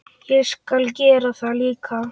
Ég skal gera það líka.